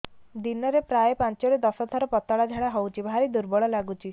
ଦିନରେ ପ୍ରାୟ ପାଞ୍ଚରୁ ଦଶ ଥର ପତଳା ଝାଡା ହଉଚି ଭାରି ଦୁର୍ବଳ ଲାଗୁଚି